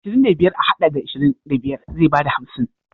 Ashirin da biyar a haɗa da ashirin da biyar zai bada hamsin.